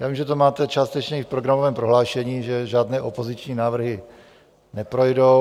Já vím, že to máte částečně i v programovém prohlášení, že žádné opoziční návrhy neprojdou.